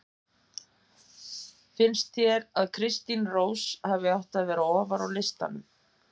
Finnst þér að Kristín Rós hafi átt að vera ofar á listanum?